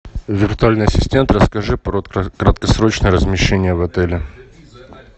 виртуальный ассистент расскажи про краткосрочное размещение в отеле